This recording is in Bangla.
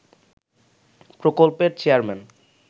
প্রকল্পের চেয়ারম্যান